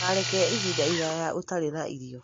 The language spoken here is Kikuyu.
Ndũkareke ihinda iraya ũtarĩ na irio.